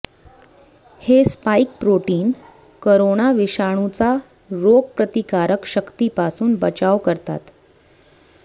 हे spike protein corona विषाणूचा रोगप्रतिकारक शक्तीपासून बचाव करतात